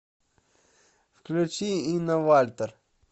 включи инна вальтер